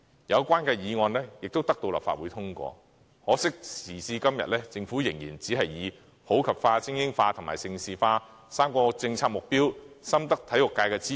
有關的議案得到立法會通過，可惜時至今天，政府對此要求仍然推搪，理由是普及化、精英化、盛事化3個政策目標深得體育界支持。